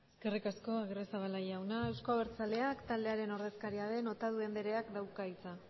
eskerrik asko agirrezabala jauna euzko abertzaleak taldearen ordezkaria den otadui andereak dauka hitza